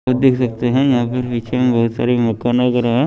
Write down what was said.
तो देख सकते हैं यहां पर पिछे में बहुत सारी मकान वगैरा हैं।